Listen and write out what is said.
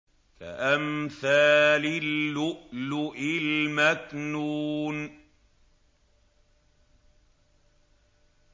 كَأَمْثَالِ اللُّؤْلُؤِ الْمَكْنُونِ